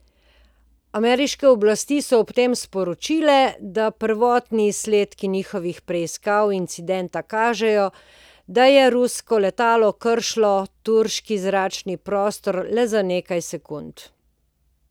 Ameriške oblasti so ob tem sporočile, da prvotni izsledki njihovih preiskav incidenta kažejo, da je rusko letalo kršilo turški zračni prostor le za nekaj sekund.